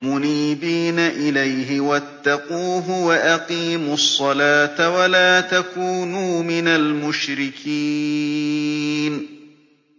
۞ مُنِيبِينَ إِلَيْهِ وَاتَّقُوهُ وَأَقِيمُوا الصَّلَاةَ وَلَا تَكُونُوا مِنَ الْمُشْرِكِينَ